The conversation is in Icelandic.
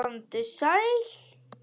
Komdu sæl.